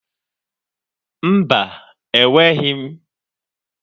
Mba, enweghị m.